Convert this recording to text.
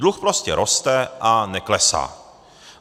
Dluh prostě roste a neklesá.